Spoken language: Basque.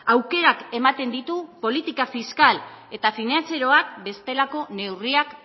aukerak ematen ditu politika fiskal eta finantzarioak bestelako neurriak